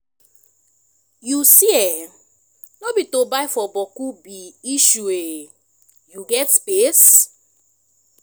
yu see eh no be to buy for bokku be issueshey yu get space?